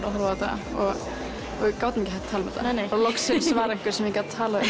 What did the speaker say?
að horfa á þetta og við gátum ekki hætt að tala um þetta neinei bara loksins var einhver sem ég gat talað um